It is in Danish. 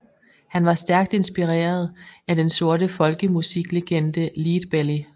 Han var stærkt inspireret af den sorte folkemusiklegende Leadbelly